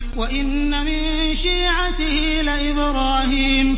۞ وَإِنَّ مِن شِيعَتِهِ لَإِبْرَاهِيمَ